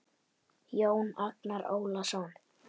Jón Agnar Ólason